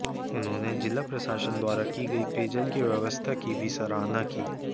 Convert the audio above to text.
उन्होंने जिला प्रशासन द्वारा की गई पेयजल की व्यवस्था की भी सराहना की